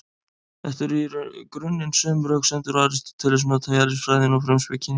Þetta eru í grunninn sömu röksemdir og Aristóteles notaði í Eðlisfræðinni og Frumspekinni.